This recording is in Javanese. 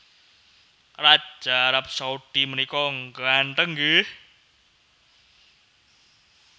Raja Arab Saudi menika ngganteng nggih